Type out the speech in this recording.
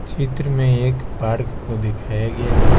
चित्र में एक पार्क को दिखाया गया है।